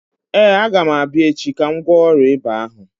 Ee, agam abịa echi ka m gwọọ ọrịa ịba ahụ.